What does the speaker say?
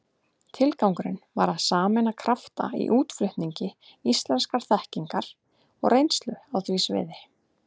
Tilgangurinn var að sameina krafta í útflutningi íslenskrar þekkingar og reynslu á því sviði.